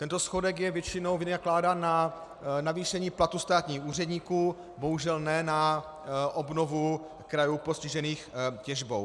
Tento schodek je většinou vynakládán na navýšení platů státních úředníků, bohužel ne na obnovu krajů postižených těžbou.